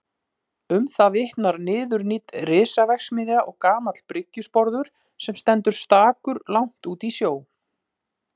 Um það vitnar niðurnídd risaverksmiðja og gamall bryggjusporður sem stendur stakur langt úti í sjó.